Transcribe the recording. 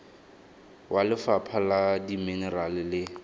wa lefapha la dimenerale le